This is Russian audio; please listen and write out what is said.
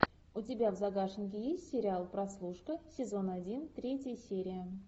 у тебя в загашнике есть сериал прослушка сезон один третья серия